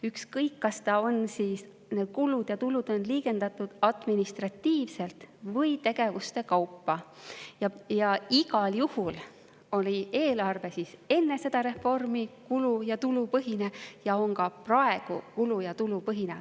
Ükskõik, kas kulud ja tulud on liigendatud administratiivselt või tegevuste kaupa, igal juhul oli eelarve enne reformi kulu‑ ja tulupõhine ja on ka praegu kulu‑ ja tulupõhine.